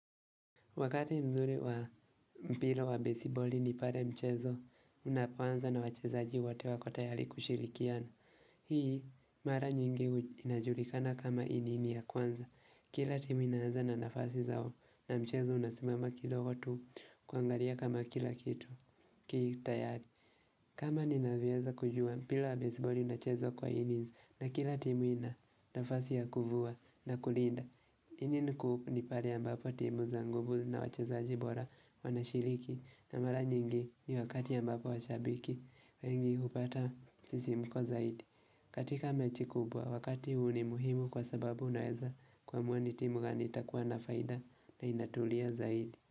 Wakati mzuri wa mpira wa baseball ni pale mchezo unapoanza na wachezaji wote wako tayari kushirikiana. Hii mara nyingi inajulikana kama inini ya kwanza. Kila timu inaanza na nafasi zao na mchezo unasimama kidogo tu kuangalia kama kila kitu ki tayari. Kama ninavyoweza kujua mpira wa basebali unachezo kwa inizi na kila timu ina nafasi ya kuvua na kulinda. Ini niku nipale ambapo timu za nguvu zina wachezaji bora wanashiriki na mara nyingi ni wakati ambapo wachabiki wengi hupata sisimuko zaidi. Katika mechi kubwa wakati huu ni muhimu kwa sababu unaeza kuamua ni timu gani itakuwa na faida na inatulia zaidi.